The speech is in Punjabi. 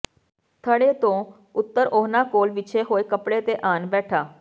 ਥੜੇ ਤੋਂ ਉੱਤਰ ਓਹਨਾ ਕੋਲ ਵਿਛੇ ਹੋਏ ਕੱਪੜੇ ਤੇ ਆਣ ਬੈਠਾ